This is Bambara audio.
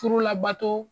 Furu labato